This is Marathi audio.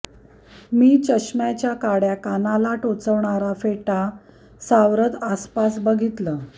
मी चष्म्याच्या काड्या कानाला टोचवणारा फेटा सावरत आसपास बघितलं